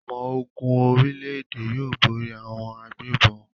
Àwọn ọmọ-ogun orílẹ̀-èdè yóò borí àwọn agbégbọn.